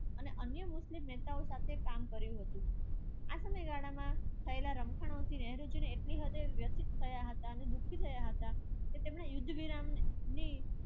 અને અન્ય મુસ્લિમ નેતાઓ સાથે કામ કર્યું હતું. ને એટલી હદે વ્યસ્ત થયા હતા. અને દુઃખી થયા હતા.